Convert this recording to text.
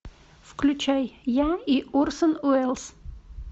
включай я и орсон уэллс